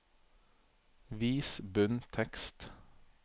Vis bunntekst